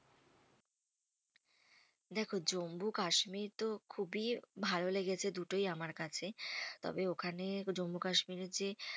দেখো জম্মু কাশ্মীর তো খুবই ভালো লেগেছে দুটোই আমার কাছে। তবে ওখানে জম্মু কাশ্মীরের যে